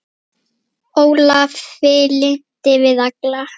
Ólafi lynti við alla